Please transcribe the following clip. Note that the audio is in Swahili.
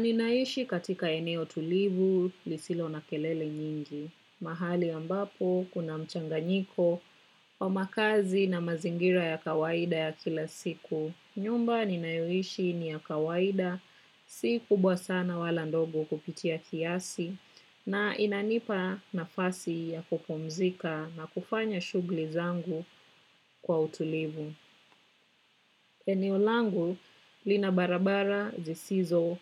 Ninaishi katika eneo tulivu lisilo na kelele nyingi. Mahali ambapo kuna mchanganyiko wa makazi na mazingira ya kawaida ya kila siku. Nyumba ninayoishi ni ya kawaida si kubwa sana wala ndogo kupitia kiasi na inanipa nafasi ya kupumzika na kufanya shugli zangu kwa utulivu. Eneo langu lina barabara zisizo